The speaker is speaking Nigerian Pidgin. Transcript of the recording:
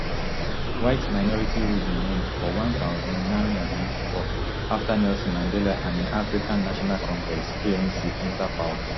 whiteminority rule bin end for one thousand, nine hundred and ninety-four afta nelson mandela and im african national congress anc enta power